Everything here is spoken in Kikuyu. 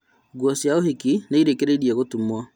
Nguo cia ũhiki nĩirĩkĩrĩrie gũtumwo